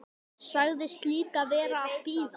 Sagðist líka vera að bíða.